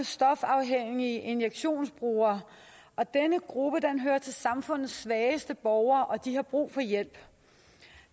stofafhængige injektionsbrugere og denne gruppe hører til samfundets svageste borgere og de har brug for hjælp